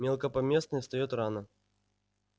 мелкопоместный встаёт рано